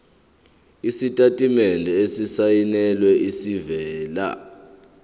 isitatimende esisayinelwe esivela